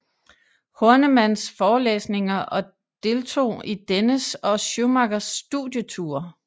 Hornemanns forelæsninger og deltog i dennes og Schumachers studieture